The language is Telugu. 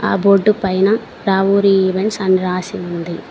ఆ బోర్డు పైన రావూరి ఈవెంట్స్ అని రాసి ఉంది.